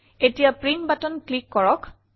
এতিয়া print button click কৰক